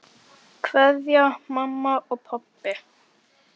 Kveðja mamma og pabbi.